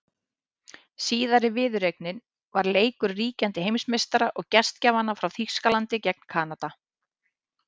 Síðari viðureignin var leikur ríkjandi heimsmeistara og gestgjafanna frá Þýskalandi gegn Kanada.